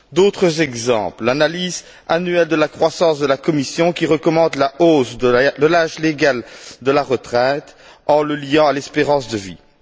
D'autres exemples l'analyse annuelle de la croissance de la Commission qui recommande la hausse de l'âge légal de la retraite en le liant à l'espérance de vie.